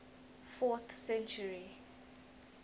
fourth century